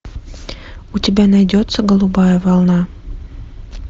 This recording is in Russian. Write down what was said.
у тебя найдется голубая волна